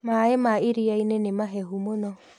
Maĩ ma iria-inĩ nĩ mahehu mũno.